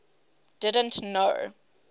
didn t know